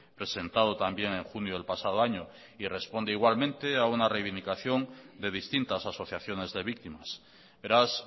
presentado también en junio del pasado año y responde igualmente a una reivindicación de distintas asociaciones de víctimas beraz